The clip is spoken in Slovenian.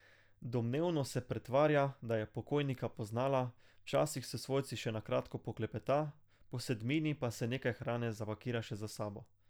Domnevno se pretvarja, da je pokojnika poznala, včasih s svojci še na kratko poklepeta, po sedmini pa si nekaj hrane zapakira še za s sabo.